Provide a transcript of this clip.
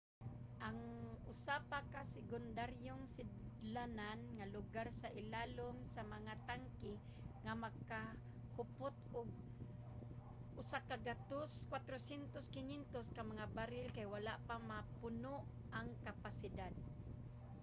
ang usa pa ka sekundaryong sidlanan nga lugar sa ilawom sa mga tangke nga makahupot og 104,500 ka mga baril kay wala pa mapuno ang kapasidad